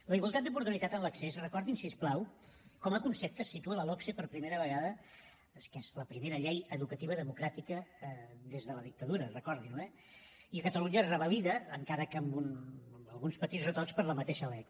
la igualtat d’oportunitat en l’accés recordin ho si us plau com a concepte es situa a la logse per primera vegada que és la primera llei educativa democràtica des de la dictadura recordin ho eh i a catalunya es revalida encara que amb alguns petits retocs per la mateixa lec